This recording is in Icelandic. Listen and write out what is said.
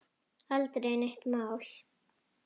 Aldrei neitt mál.